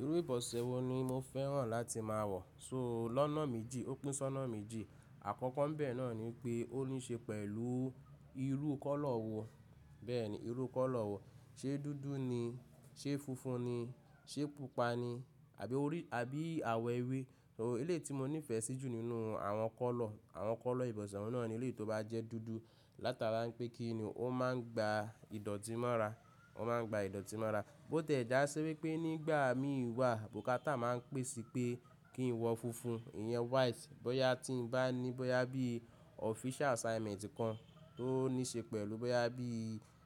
Irú ìbọ̀sẹ̀ wo ni mo fẹ́ràn láti máa wọ̀. So lọ́nà méjì, ó pínṣọnà méjì. Àkọ́kọ́ n bẹ́ẹ̀ náà ni pé ó níí ṣe pẹ̀lú irú kọ́lọ̀ wo. Bẹ́ẹ̀ ni, irú kọ́lọ̀ wo. Ṣé dúdú ni? Ṣé funfun ni? Ṣé pupa ni? Àbí àwọ̀ ewé? Uh ilé tí mo nífẹ̀ẹ́ sí jù nínú àwọn kọ́lọ̀, àwọn kọ́lọ̀ ìbọ̀sẹ̀ náà ni ilé tí ó bá jẹ́ dúdú. Látara wipé kí ni, ó máa ń gba ìdọ̀tí mọ́ra. Ó máa ń gba ìdọ̀tí mọ́ra. Bó tẹ̀ dá sí wípé nígbà mí wà, bukátà máa ń pèsè pé kí n wọ funfun, ìyẹn white. Bọ́yá tí ń bá ní, bóyá bí official assignment kan tó níí ṣe pẹ̀lú, bóyá bí,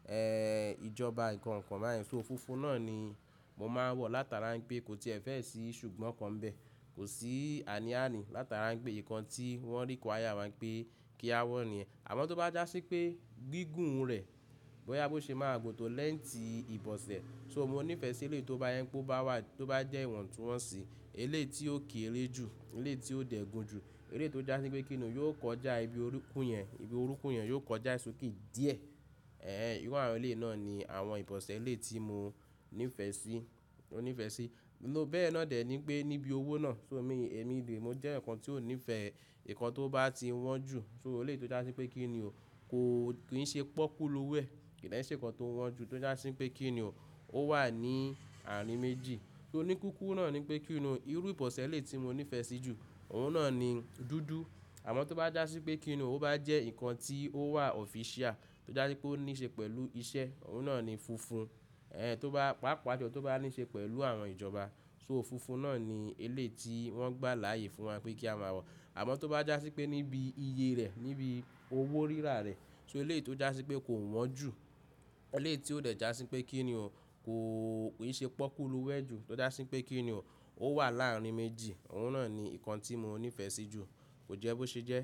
ẹ́, ìjọba nǹkan kan baa yen Ó funfun náà ni mo máa ń wọ̀ látara pé kò tiẹ̀ fẹ́ síì ṣùgbọ́n kan bẹ́ẹ̀. Kò sí àní-àní, látara pé nǹkan tí wọ́n require wa pé kí a wọ̀ niyen Àmọ́ tó bá jásí pé gígùn rẹ̀, bóyá bó ṣe máa gbò to léńtì ìbọ̀sẹ̀. So mo nífẹ̀ẹ́ sí ilé tí ó bá je kó bá wà, tó bá jẹ́ ìwọ̀ntúnwọ̀nsì. Ilé yi tí ó keere jù, eleyii tí ó dẹ̀ gun jù. Ilé tí ó jásí pé kí ni, yóò kọjá ibi orúnkún yẹn, ibi orúnkún yẹn yóò kọjá e soke díẹ̀. Ẹ̀ẹ́, ìrun àwọn ilé náà ni àwọn ìbọ̀sẹ̀ ilé tí mo nífẹ̀ẹ́ sí, nífẹ̀ẹ́ sí. Bẹ́ẹ̀ náà dẹ̀ ni pé níbi owó náà, so èmi, èmi rí, mo jẹ́ ǹkan tí ó nífẹ̀ẹ́, ǹkan tó bá ti wọ́n jù, so ilé tí ó jásí pé kí ni o, kò, kì í ṣe pọ́kú lo wo, kì í ṣe ǹkan tó wọ́n jù, tó jásí pé kí ni o, ó wà ní ààrin méjì. So oníkíkú náà ni pé kí ni, irú ìbọ̀sẹ̀ ilé tí mo nífẹ̀ẹ́ sí jù, òun náà ni dúdú. Àmọ́ tó bá jásí pé kí ni o, ó bá jẹ́ ǹkan tí ó wà official, tó jásí pé ó níí ṣe pẹ̀lú iṣẹ́, òun náà ni funfun. Ẹ̀ẹ́, tó bá, pàápàá jọ tó bá níí ṣe pẹ̀lú àwọn ìjọba. So ò funfun náà ni ilé tí wọ́n gbà láàyè fún wa pé kí a máa wọ̀. Àmọ́ tó bá jásí pé níbi iye rẹ̀, níbi owó rírà rẹ̀, so ilé tí ó jásí pé kò wọ́n jù, ilé tí ó dẹ̀ jásí pé kí ni o, kò, kì í ṣe pọ́kúlu wẹ jù, tó jásí pé kí ni o, ó wà láàrin méjì. Òun náà ni ǹkan tí mo nífẹ̀ẹ́ sí jù. Kò jẹ́ bó ṣe jẹ́?